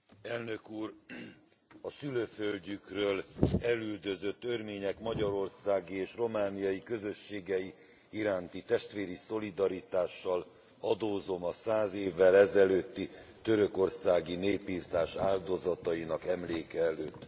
Elnök Úr, a szülőföldjükről elüldözött örmények magyarországi és romániai közösségei iránti testvéri szolidaritással adózom a száz évvel ezelőtti törökországi népirtás áldozatainak emléke előtt.